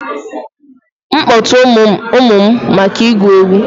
M kpọta ụmụ maka ịgụ egwu?